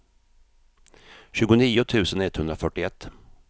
tjugonio tusen etthundrafyrtioett